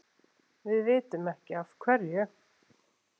Við vitum ekki af hverju.